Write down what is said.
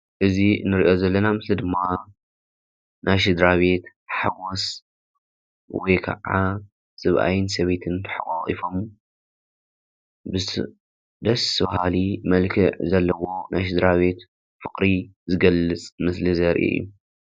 እዚ ንሪኦ ዘለና ምስሊ ድማ ናይ ስድራ ቤት ሓጎስ ወይ ከዓ ሰብኣይን ሰበይትን ተሓቋቂፎም ደስ በሃሊ መልክዕ ዘለዎ ናይ ስድራ ቤት ፍቅሪ ዝገልፅ ምስሊ ዘርኢ።